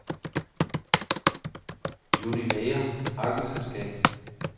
Univeyor A/S